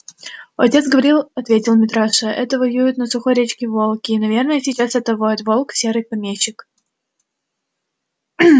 отец говорил ответил митраша это воют на сухой речке волки и наверно сейчас это воет волк серый помещик